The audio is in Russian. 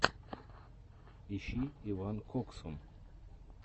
ищи иван коксун